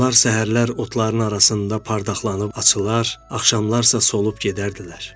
Onlar səhərlər otların arasında pardaqlanıb açılar, axşamlar sa solub gedərdilər.